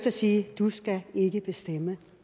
at sige du skal ikke bestemme